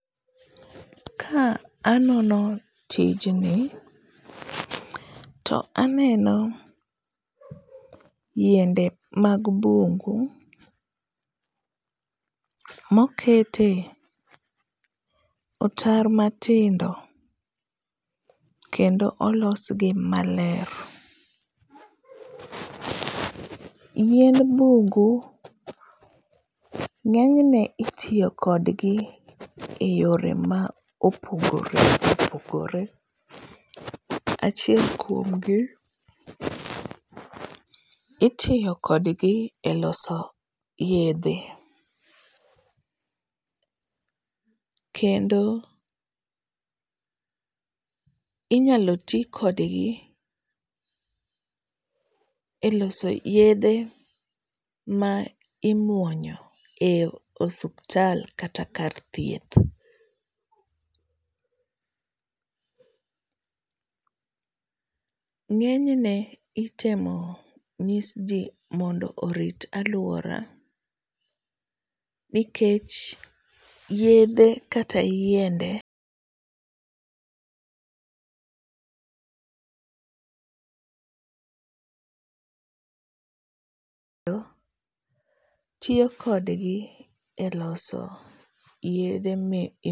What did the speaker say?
Ka anono tijni, to aneno yiende mag bungu mokete otaro matindo kendo olosgi maler. Yiend bungu, ng'enyen otiyo kodgi eyore ma opogore opogore, Achiel kuom gi, itiyo kodgi e loso yedhe kendo inyalo ti kodgi e loso yedhe ma imuonyo e osuptal kata kar thieth, ng'enyne itemo nyisji mondo orit alwora nikech yedhe kata yiende tiyo kodgi e loso yedhe mi.